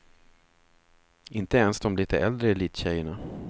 Inte ens de litet äldre elittjejerna.